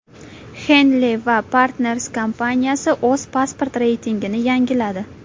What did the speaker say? Henley & Partners kompaniyasi o‘z pasport reytingini yangiladi.